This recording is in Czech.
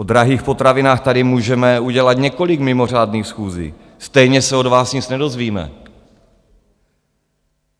O drahých potravinách tady můžeme udělat několik mimořádných schůzí, stejně se od vás nic nedozvíme.